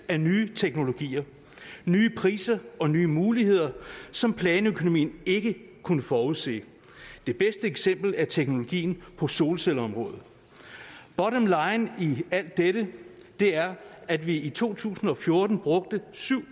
af nye teknologier nye priser og nye muligheder som planøkonomien ikke kunne forudse det bedste eksempel er teknologien på solcelleområdet bottomline i alt dette er at vi i to tusind og fjorten brugte syv